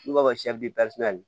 N'u b'a fɔ